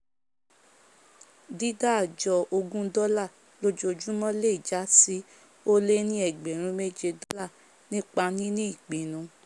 dídá àjọ ogún dólà lójojúmọ̀ le jásí ólé ní ẹgbrùn méjé dọ̀là nípa níní ìpinu